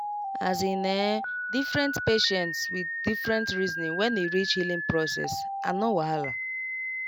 as in[um]different patients with different reasoning when e reach healing process and no wahala